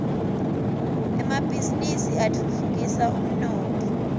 emabhisinisi atfutfukisa umnotfo